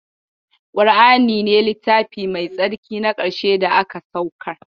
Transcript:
Ƙur'ani ne littafi mai tsarki na ƙarshe daga saukar